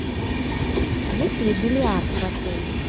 есть ли бильярд в отеле